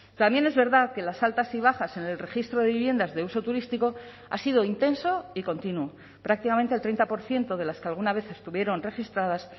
también es verdad que las altas y bajas en el registro de viviendas de uso turístico ha sido intenso y continuo prácticamente al treinta por ciento de las que alguna vez estuvieron registradas